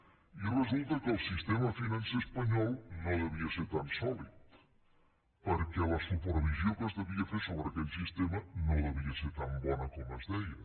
i resulta que el sistema financer espanyol no devia ser tan sòlid perquè la supervisió que es devia fer sobre aquell sistema no devia ser tan bona com es deia